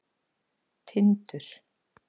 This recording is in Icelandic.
Tindur